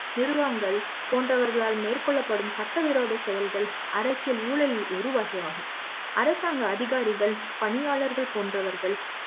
நிர்வாகங்கள் போன்றவர்களால் மேற்கொள்ளப்படும் சட்டவிரோத செயல்கள் அரசியல் ஊழல் ஒருவகை ஆகும் அரசாங்க அதிகாரிகள் பணியாளர்கள் போன்றவர்கள்